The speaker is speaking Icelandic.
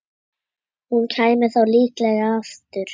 Hún kæmi þá líklega aftur.